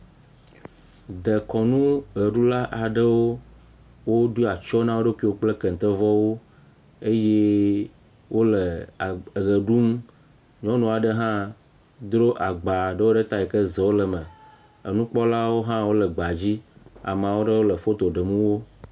Dekɔnuʋeɖula aɖewo, woɖo atsyɔ̃ na wo ɖokui kple kentevɔwo eye wole a ʋe ɖum. Nyɔnu aɖe hã dro agba aɖewo ɖe ta yi ke zewo le eme. Enukpɔla aɖewo hã wole gbea dzi. Ame aɖewo hã le foto ɖem wo